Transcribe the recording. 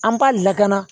An b'a lakana